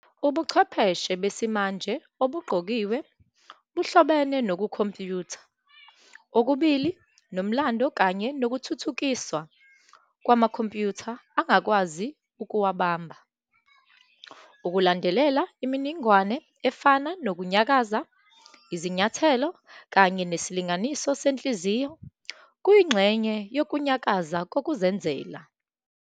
Ubuchwepheshe besimanje obugqokiwe buhlobene nokukhompiyutha okubili nomlando kanye nokuthuthukiswa kwamakhompyutha angakwazi ukuwabamba. Ukulandelela imininingwane efana nokunyakaza, izinyathelo, kanye nesilinganiso senhliziyo kuyingxenye yokunyakaza kokuzenzela.